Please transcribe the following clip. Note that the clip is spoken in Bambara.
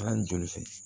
Kalan joli fɛ